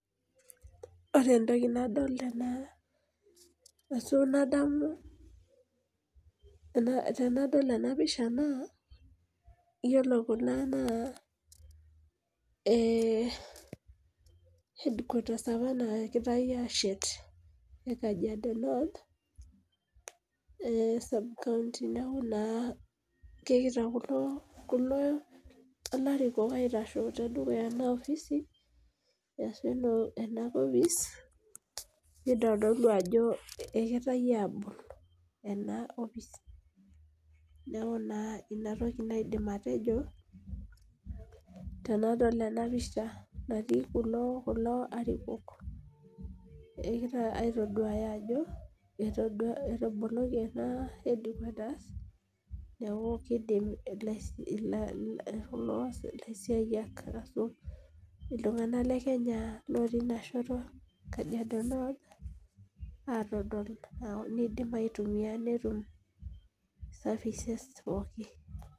Ore entoki nadolita ashu nadamu tenadol ena pisha naayiolo Kuna naa hedkuatas apa naagirae ashet ekajiado noth subkaonti neeku naa kegira kulo arikok aitashe tedukuya ena ofisi ,nitodolu ajo kegirae abol ena opis .neeku ina toki aidim atejo tenadol ena pisha natii kulo arikok egira aitoduaya ajo ataboloki ena hedkuata pee eidim ilasiayiak ashu iltunganak lekenya otii ina shoto kajiado noth neidim aitumiyia netum safeces pookin.